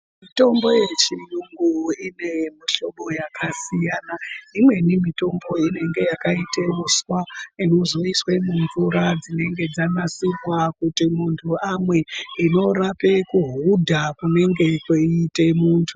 Mitombo ye chiyungu ine mu hlobo yaka siyana imweni mitombo inenge yakaite uswa inozo iswe mu mvura dzinenge dzaka sikwa kuti muntu amwe inorape ku hudha kunenge kweiite muntu.